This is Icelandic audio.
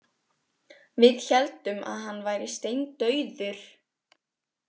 Við héldum að hann væri steindauður.